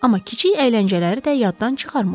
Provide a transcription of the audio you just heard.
Amma kiçik əyləncələri də yaddan çıxarmırlar.